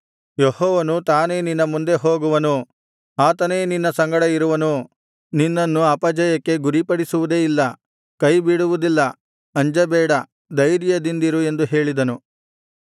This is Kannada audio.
ಯೆಹೋವನು ತಾನೇ ನಿನ್ನ ಮುಂದೆ ಹೋಗುವನು ಆತನೇ ನಿನ್ನ ಸಂಗಡ ಇರುವನು ನಿನ್ನನ್ನು ಅಪಜಯಕ್ಕೆ ಗುರಿಪಡಿಸುವುದೇ ಇಲ್ಲ ಕೈಬಿಡುವುದಿಲ್ಲ ಅಂಜಬೇಡ ಧೈರ್ಯದಿಂದಿರು ಎಂದು ಹೇಳಿದನು